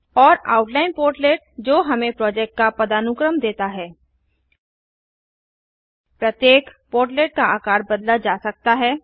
और outline portlet जो हमें प्रोजेक्ट का पदानुक्रम देता है प्रत्येक पोर्टलेट का आकार बदला जा सकता है